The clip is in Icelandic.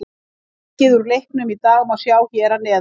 Markið úr leiknum í dag má sjá hér að neðan